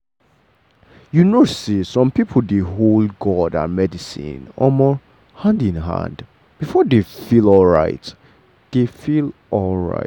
you know say some people dey hold god and medicine um hand in hand before dey feel alright. dey feel alright.